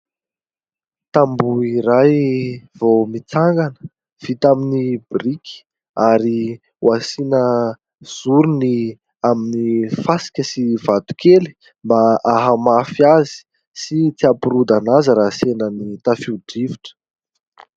Tamboho iray vao mitsangana vita amin'ny biriky ary ho asiana zorony amin'ny fasika sy vatokely mba hahamafy azy sy tsy hampirodana azy raha sendra ny tafio-drivotra.